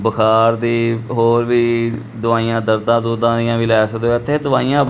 ਬੁਖ਼ਾਰ ਦੀ ਹੋਰ ਵੀ ਦਵਾਈਆਂ ਦਰਦਾ ਦੁਰਦਾਂ ਦੀਆਂ ਵੀ ਲਏ ਸਕਦੇ ਹੋ ਇੱਥੇ ਦਵਾਈਆਂ--